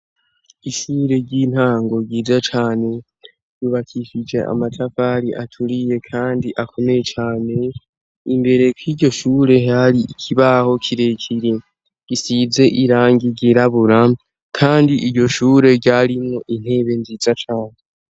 Ishure ry'intango ryiza cane yubakisije amatafari aturiye kandi akomeye cane imbere k'iryo shure hari ikibaho kirekire gisize irangigirabura kandi iyo shure ryarimwo intebe nziza cane.